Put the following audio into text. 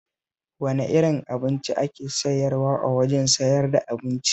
Wane irin abinci ake sayarwa a wajen sayar da abincin?